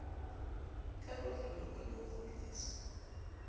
ka kotloloho le ho kgutliswa